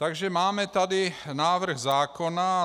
Takže tady máme návrh zákona.